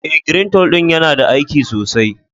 Eh, " greentole " din yana da aiki sosai.